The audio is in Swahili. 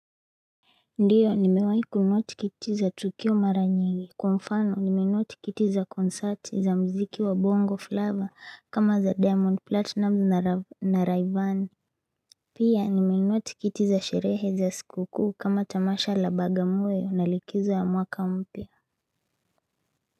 Ndio nimewahi kunuotikitiza tukio maranyingi kwamfano nimenuotikitiza konsati za mziki wa bongo fleva kama za diamond platinum na raivane Pia nimenuotikitiza sherehe za sikukuu kama tamasha la bagamoyo na likizo ya mwaka mpya.